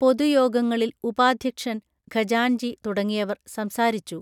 പൊതു യോഗങ്ങളിൽ ഉപാധ്യക്ഷൻ ഖജാൻജി തുടങ്ങിയവർ സംസാരിച്ചു